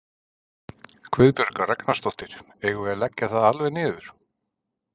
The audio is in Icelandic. Guðbjörg Ragnarsdóttir: Eigum við að leggja það alveg niður?